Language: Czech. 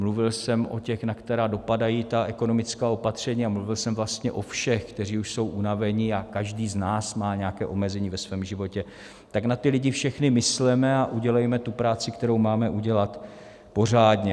Mluvil jsem o těch, na které dopadají ta ekonomická opatření, a mluvil jsem vlastně o všech, kteří už jsou unavení, a každý z nás má nějaké omezení ve svém životě, tak na ty lidi všechny mysleme a udělejme tu práci, kterou máme udělat, pořádně.